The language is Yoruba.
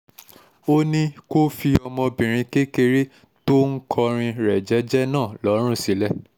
ó ní kó fi ọmọbìnrin kékeré tó ń kọrin rẹ̀ jẹ́ẹ́jẹ́ náà lọ́rùn sílẹ̀